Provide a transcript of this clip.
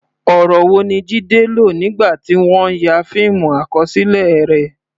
Ọ̀rọ̀ wo ni Jide lò nígbà tí wọ́n ń ya fíìmù àkọsílẹ̀ rẹ̀?